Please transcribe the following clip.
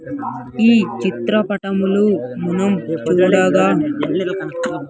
ఈ చిత్రపటములు మనం చూడగా --